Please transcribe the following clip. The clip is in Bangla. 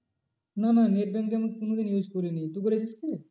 না না net banking আমি কোনোদিন use করিনি তুই করেছিস কি?